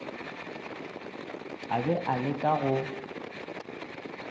a be a leka go